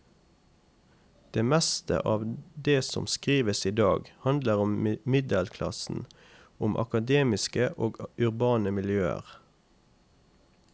Det meste av det som skrives idag, handler om middelklassen, om akademiske og urbane miljøer.